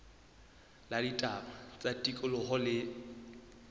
la ditaba tsa tikoloho le